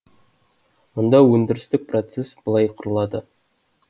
мұнда өндірістік процесс былай құрылады